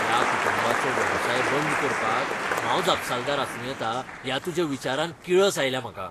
त्या कुटुंबाचो वेवसाय बंद करपाक हांव जापसालदार आसूं येता ह्या तुज्या विचारान किळस आयल्या म्हाका.